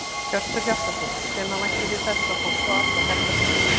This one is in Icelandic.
Hjörtur Hjartarson: Hvenær væntið þið þess að fá svar frá Bandaríkjunum?